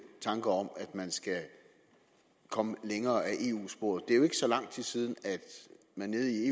tanker om at man skal komme længere ad eu sporet det er jo ikke så lang tid siden man nede i